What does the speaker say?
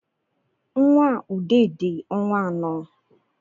Nnwa ude di ọnwa anọ